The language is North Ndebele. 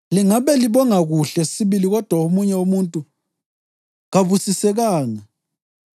Lingabe libonga kuhle sibili kodwa omunye umuntu kabusisekanga.